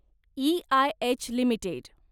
EIH limited